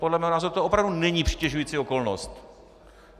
Podle mého názoru to opravdu není přitěžující okolnost.